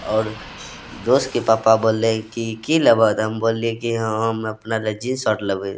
और दोस्त के पापा बोले की लेबा हम बोल लिए की हम अपना लिए जीन्स आर लेबे --